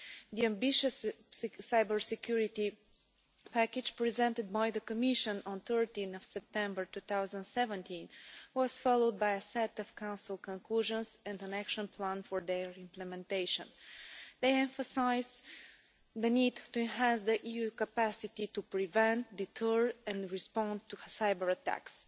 The ambitious Cybersecurity Package presented by the Commission on 13 September 2017 was followed by a set of Council conclusions and an action plan for their implementation. They emphasise the need to enhance the EU's capacity to prevent, deter and respond to cyber-attacks.